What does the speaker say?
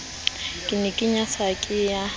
ke e nyatsang ke ya